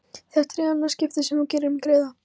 Þetta er í annað skipti sem þú gerir mér greiða